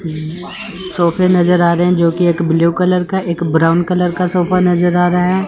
सोफे नज़र आ रहे हैं जोकि एक ब्लू कलर का एक ब्राउन कलर का सोफा नजर आ रहा है।